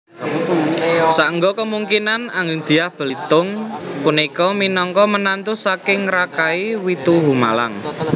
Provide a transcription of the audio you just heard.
Saengga kemungkinan agengDyah Balitung punika minangka menantu saking Rakai Watuhumalang